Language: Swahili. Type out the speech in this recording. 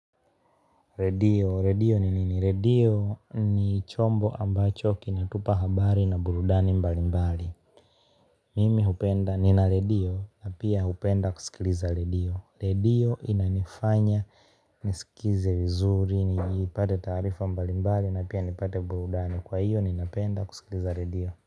Rwdio redio ni nini redio ni chombo ambacho kinatupa habari na burudani mbalimbali mimi hupenda, nina redio na pia hupenda kusikiliza redio redio inanifanya, nisikize vizuri, nipate taarifa mbali mbali na pia nipate burudani kwa hiyo, ninapenda kusikiliza redio.